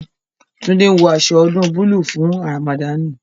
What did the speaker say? Tunde ń wọ aṣọ ọdún búlúù fún Ramadani